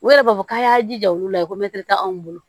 U yɛrɛ b'a fɔ k'a y'a jija olu la ko mɛtiri t'anw bolo